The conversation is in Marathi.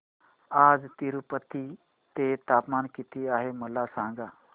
आज तिरूपती चे तापमान किती आहे मला सांगा